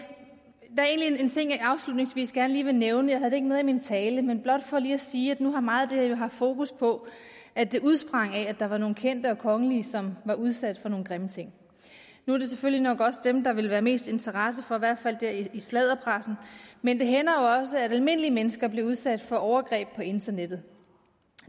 afslutningsvis gerne lige vil nævne jeg havde det ikke med i min tale men blot for lige at sige at nu har meget her jo haft fokus på at det udsprang af at der var nogle kendte og kongelige som var udsat for nogle grimme ting nu er det selvfølgelig nok også dem der vil være mest interesse for i hvert fald i sladderpressen men det hænder jo også at almindelige mennesker bliver udsat for overgreb på internettet